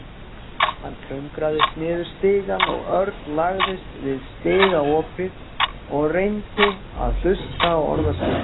Hann klöngraðist niður stigann og Örn lagðist við stigaopið og reyndi að hlusta á orðaskipti.